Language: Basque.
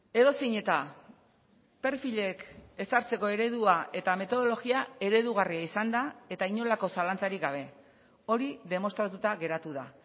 edozein eta perfilek ezartzeko eredua eta metodologia eredugarria izan da eta inolako zalantzarik gabe hori demostratuta geratu da